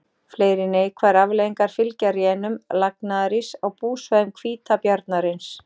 Fleiri neikvæðar afleiðingar fylgja rénun lagnaðaríss á búsvæðum hvítabjarnarins.